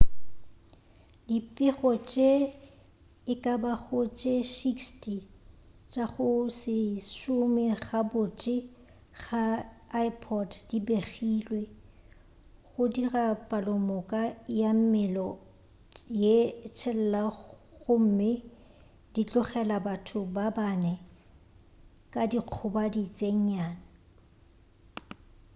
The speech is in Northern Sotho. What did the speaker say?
dipego tše e ka bago tše 60 tša go se šome gabotse ga di ipod di begilwe go dira palomoka ya mello ye tshelela gomme di tlogela batho ba bane ka dikgobadi tše nnyane